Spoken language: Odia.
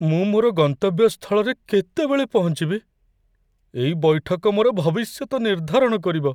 ମୁଁ ମୋର ଗନ୍ତବ୍ୟ ସ୍ଥଳରେ କେତେବେଳେ ପହଞ୍ଚିବି? ଏଇ ବୈଠକ ମୋର ଭବିଷ୍ୟତ ନିର୍ଦ୍ଧାରଣ କରିବ।